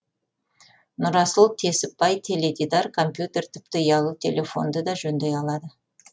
нұрасыл несіпбай теледидар компьютер тіпті ұялы телефонды да жөндей алады